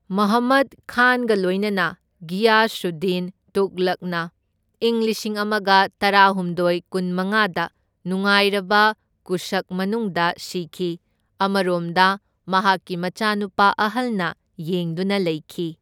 ꯃꯨꯍꯝꯃꯗ ꯈꯥꯟꯒ ꯂꯣꯏꯅꯅ ꯘꯤꯌꯥꯁꯨꯗꯗꯤꯟ ꯇꯨꯘꯂꯛꯅ ꯏꯪ ꯂꯤꯁꯤꯡ ꯑꯃꯒ ꯇꯔꯥꯍꯨꯝꯗꯣꯢ ꯀꯨꯟꯃꯉꯥꯗ ꯅꯤꯡꯉꯥꯏꯔꯕ ꯀꯨꯁꯛ ꯃꯅꯨꯡꯗ ꯁꯤꯈꯤ, ꯑꯃꯔꯣꯝꯗꯅ ꯃꯍꯥꯛꯀꯤ ꯃꯆꯥꯅꯨꯄꯥ ꯑꯍꯜꯅ ꯌꯦꯡꯗꯨꯅ ꯂꯩꯈꯤ꯫